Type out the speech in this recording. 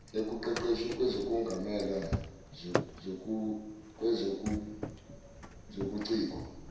ekuqeqeshweni kwezokungamelwa kwezobuciko